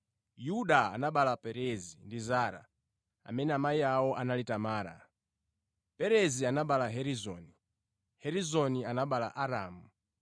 Yuda anabereka Perezi ndi Zara, amene amayi awo anali Tamara. Perezi anabereka Hezironi, Hezironi anabereka Aramu.